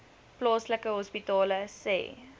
plaaslike hospitale sê